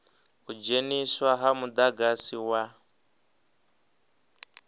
u dzheniswa ha mudagasi wa